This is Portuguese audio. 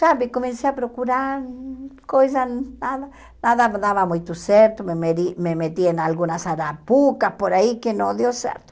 Sabe, comecei a procurar coisas, nada nada dava muito certo, me medi me meti em algumas arapucas por aí que não deu certo.